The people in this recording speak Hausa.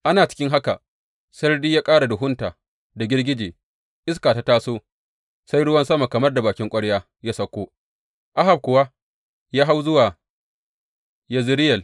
Ana cikin haka, sarari ya ƙara duhunta da girgije, iska ta taso, sai ruwan sama kamar da bakin kwarya ya sauko, Ahab kuwa ya hau zuwa Yezireyel.